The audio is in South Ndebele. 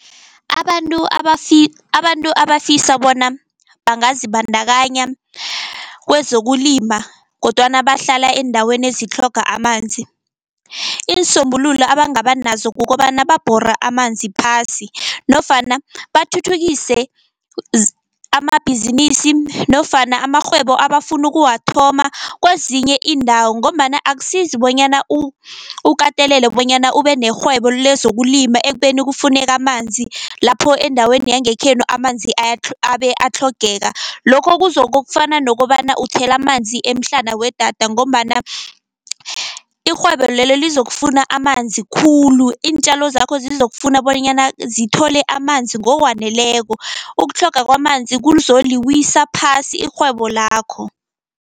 Abantu abantu abafisa bona bangazibandakanya kwezokulima kodwana bahlala eendaweni ezitlhoga amanzi, iinsombululo abangaba nazo kukobana babhore amanzi phasi, nofana bathuthukise amabhizinisi nofana amarhwebo abafuna ukuwathoma kwezinye iindawo. Ngombana akusizi bonyana ukatelele bonyana ube nerhwebo lezokulima ekubeni kufuneka amanzi lapho endaweni yangekhenu amanzi abe atlhogeka, lokho kuzokofana nokobana uthela amanzi emhlana wedada, ngombana irhwebo lelo lizokufuna amanzi khulu, iintjalo zakho zizokufuna bonyana zithole amanzi ngokwaneleko. Ukutlhoga kwamanzi kuzoliwisa phasi irhwebo lakho.